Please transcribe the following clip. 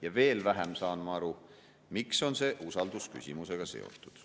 Ja veel vähem saan ma aru, miks on see usaldusküsimusega seotud.